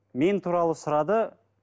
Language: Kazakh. мен туралы сұрады